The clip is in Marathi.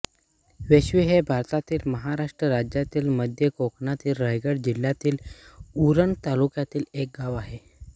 वेश्वी हे भारतातील महाराष्ट्र राज्यातील मध्य कोकणातील रायगड जिल्ह्यातील उरण तालुक्यातील एक गाव आहे